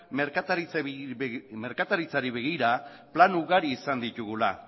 merkataritzari begira plan ugari izan ditugula